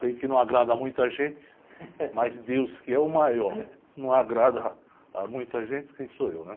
Sei que não agrada a muita gente, mas Deus que é o maior, não agrada a muita gente, quem sou eu, né?